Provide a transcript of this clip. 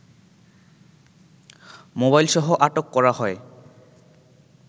মোবাইলসহ আটক করা হয়